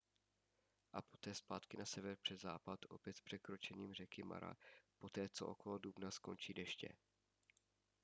a poté zpátky na sever přes západ opět s překročením řeky mara poté co okolo dubna skončí deště